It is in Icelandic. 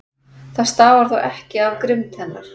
Það stafar þó ekki af grimmd hennar.